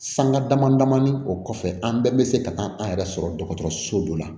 Sanga dama damani o kɔfɛ an bɛɛ bɛ se ka taa an yɛrɛ sɔrɔ dɔgɔtɔrɔso dɔ la